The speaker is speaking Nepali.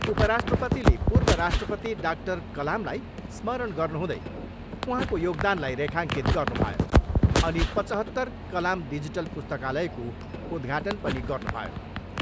उपराष्ट्रपतिले पूर्व राष्ट्रपति डाक्टर कलामलाई स्मरण गर्नुहुँदै उहाँको योगदानलाई रेखाङ्कित गर्नुभयो अनि पचहत्तर कलाम डिजिटल पुस्तकालयको उद्घाटन पनि गर्नुभयो।